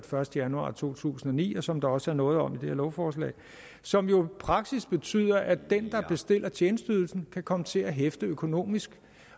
første januar to tusind og ni og som der også er noget om i det her lovforslag og som jo i praksis betyder at den der bestiller tjenesteydelsen kan komme til at hæfte økonomisk